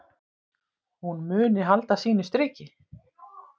Hún muni halda sínu striki.